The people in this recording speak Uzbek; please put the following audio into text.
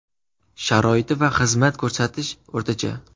Sharoiti va xizmat ko‘rsatish – o‘rtacha.